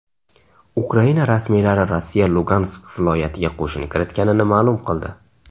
Ukraina rasmiylari Rossiya Lugansk viloyatiga qo‘shin kiritganini ma’lum qildi.